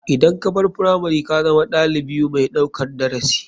Idan kabar firamari kazama ɗalibiu mai ɗaukan darasi.